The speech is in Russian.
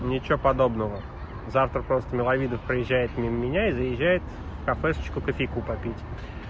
ничего подобного завтра просто миловидов проезжает мимо меня и заезжает кофейку попить